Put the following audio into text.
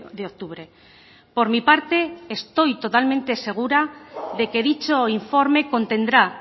de octubre por mi parte estoy totalmente segura de que dicho informe contendrá